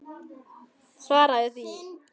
Svaraðu því.